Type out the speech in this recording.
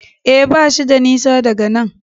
E, bashi da nisa daga nan.